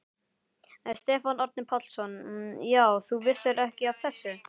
Stefán Árni Pálsson: Já, þú vissir ekki af þessu?